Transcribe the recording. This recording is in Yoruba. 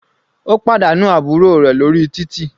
Ó pàdánù àbúrò rẹ̀ lórí títì.